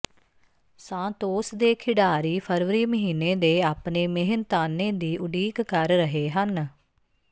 Santos ਦੇ ਖਿਡਾਰੀ ਫਰਵਰੀ ਮਹੀਨੇ ਦੇ ਆਪਣੇ ਮਿਹਨਤਾਨੇ ਦੀ ਉਡੀਕ ਕਰ ਰਹੇ ਹਨ